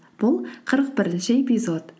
бұл қырық бірінші эпизод